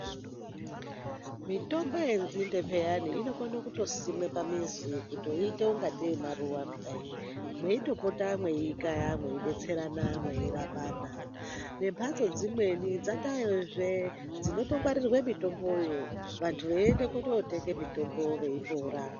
Mitombo yenxinde piyani inokone kutosimwe pamizi kutoiite ngekuti maruwa kudai meitopota meiikaya meidetserana mweirapana. Vembatso dzimweni dzataazve dzinotongwarirwe mitomboyo ,vantu veitoende kotenge mutombo veipora.